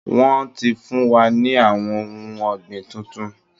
Wọ́n ti fún wa ní àwọn ohun ọ̀gbìn tuntun